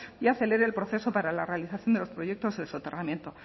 y acelere el proceso para la realización de los proyectos del soterramiento